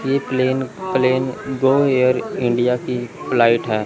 ये plane plane Go Air India की flight है।